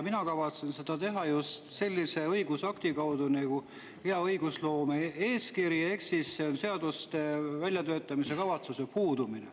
Mina kavatsen seda teha just sellise õigusakti kaudu nagu hea õigusloome eeskiri, sest puudub seaduse väljatöötamiskavatsus.